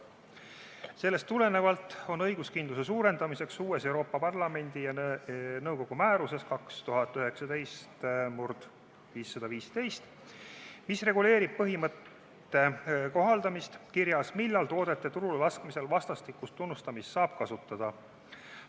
Sellest tulenevalt on õiguskindluse suurendamiseks uues Euroopa Parlamendi ja nõukogu määruses 2019/515, mis reguleerib põhimõtte kohaldamist, kirjas, millal toodete turulelaskmisel vastastikust tunnustamist saab kasutada.